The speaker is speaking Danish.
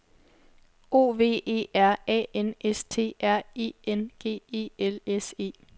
O V E R A N S T R E N G E L S E